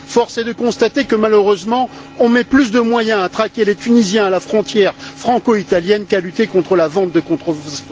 Force est de constater que, malheureusement, on met plus de moyens à traquer les Tunisiens à la frontière franco italienne qu'à lutter contre la vente de contrefaçons.